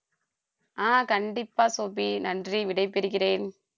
ஆஹ் கண்டிப்பா சோபி நன்றி விடைபெறுகிறேன்